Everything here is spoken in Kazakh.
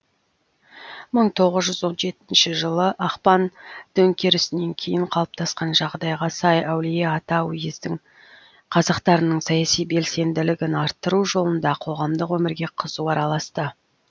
мың тоғыз жүз он жетінші жылы ақпан төңкерісінен кейін қалыптасқан жағдайға сай әулиеата уездің қазақтарының саяси белсенділігін арттыру жолында қоғамдық өмірге қызу араласты